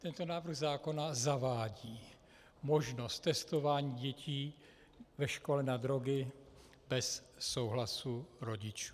Tento návrh zákona zavádí možnost testování dětí ve škole na drogy bez souhlasu rodičů.